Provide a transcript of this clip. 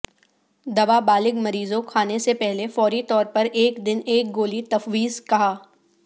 دوا بالغ مریضوں کھانے سے پہلے فوری طور پر ایک دن ایک گولی تفویض کہا